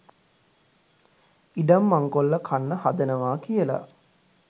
ඉඩම් මංකොල්ල කන්න හදනවා කියලා